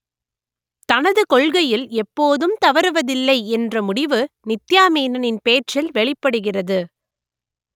தனது கொள்கையில் எப்போதும் தவறுவதில்லை என்ற முடிவு நித்யா மேனனின் பேச்சில் வெளிப்படுகிறது